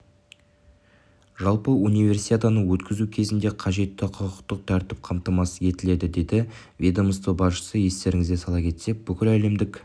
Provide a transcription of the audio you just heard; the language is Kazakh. жалпы универсиаданы өткізу кезінде қажетті құқықтық тәртіп қамтамасыз етіледі деді ведомство басшысы естеріңізге сала кетсек бүкіләлемдік